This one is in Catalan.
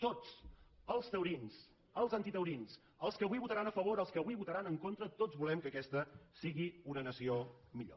tots els taurins els antitaurins els que avui votaran a favor els que avui votaran en contra tots volem que aquesta sigui una nació millor